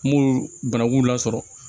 N m'olu banaku lasɔrɔ